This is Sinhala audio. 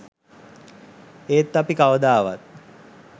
ඒත් අපි කවදාවත්